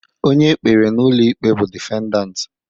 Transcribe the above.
Onye e kpere n'ụlọ ikpe bụ defendant.